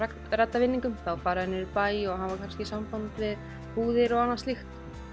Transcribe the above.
redda vinningum þá fara þeir niður í bæ og hafa kannski samband við búðir og annað slíkt